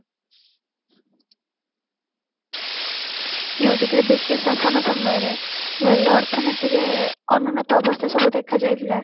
ନାଇଁ ଯେତେବେଳେ ବ୍ରିଟିସ ଶାସନ ସମୟରେ ଅର୍ଥନୀତିରେ ଅନ୍ନଉନ୍ନତ ଅବସ୍ଥା ସବୁ ଦେଖା ଯାଇଥିଲା